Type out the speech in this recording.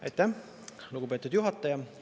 Aitäh, lugupeetud juhataja!